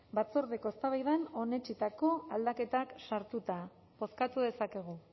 batzordeko eztabaidan onetsitako aldaketak sartuta bozkatu dezakegu